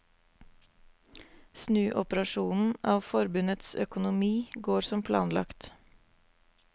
Snuoperasjonen av forbundets økonomi går som planlagt.